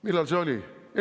Millal see oli?